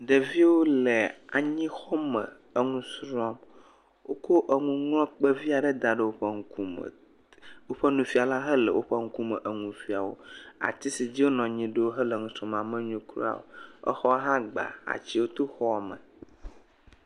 ɖevio le anyixɔme eŋusrɔm wokó eŋuŋlɔkpe viaɖe daɖe wóƒe ŋkume woƒe nufiala hã le wóƒe nukume enufia o ati si dzi wo nɔnyi ɖo hele nusrɔma menyo kura o exɔ hã gba atsio to xɔme